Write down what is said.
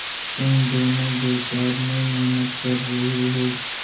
तुम दोनों बेकार में मेहनत कर रहे हो